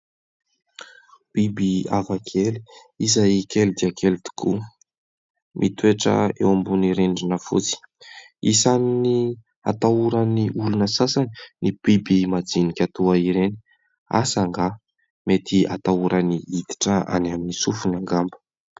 Biby hafakely izay kely dia kely tokoa, mitoetra eo ambonin'ny rindrina fotsy. Isan'ny atahoran'ny olona sasany ny biby majinika toa ireny. Asa angaha ? Mety atahorany hiditra any amin'ny sofiny angamba.